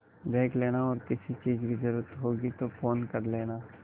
देख लेना और किसी चीज की जरूरत होगी तो फ़ोन कर लेना